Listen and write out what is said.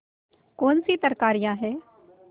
कौनसी तरकारियॉँ हैं